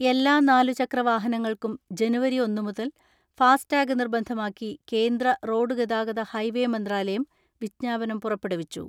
എല്ലാ നാലുചക്ര വാഹനങ്ങൾക്കും ജനുവരി ഒന്ന് മുതൽ ഫാസ് ടാഗ് നിർബന്ധമാക്കി കേന്ദ്ര റോഡ് ഗതാഗത ഹൈവേ മന്ത്രാലയം വിജ്ഞാപനം പുറപ്പെടുവിച്ചു.